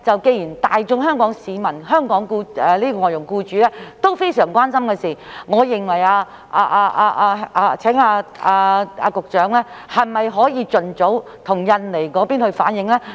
既然這是香港外傭僱主均非常關心的事情，我想問，局長可否盡早向印尼政府反映？